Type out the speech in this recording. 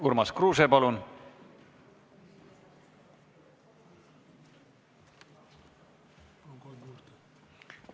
Urmas Kruuse, palun!